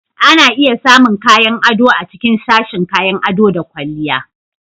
Ana iya samun kayan ado a cikin sashin kayan ado da ƙwalliya